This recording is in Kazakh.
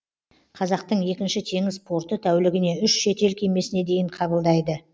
қазақтың екінші теңіз порты тәулігіне үш шетел кемесіне дейін қабылдайды